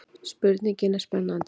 Spurningin er spennandi.